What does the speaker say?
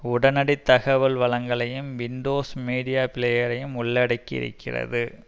உடனடி தகவல் வழங்கலையும் விண்டோஸ் மீடியா பிளேயரையும் உள்ளடக்கி இருக்கிறது